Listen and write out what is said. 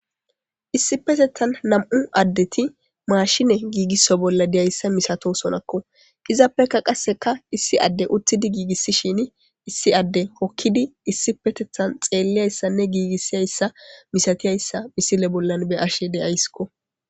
issipetethan nam7u addeti maashine giigisso bolla deyayssa misato sonakko izaappeka qasseka issi adde uttidi giigissishin issi adde hokkidi issipetethan xeelliyayssanne giigissiyayssa misatiyayssa misile bollan be ashe deyaysskko